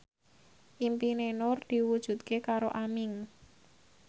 impine Nur diwujudke karo Aming